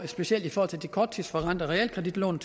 specielt i forhold til de korttidsforrentede realkreditlån